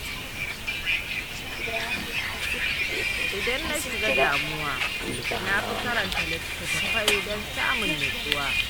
Idan na na shiga damuwa na fi karanta littattafai don samun nutsuwa.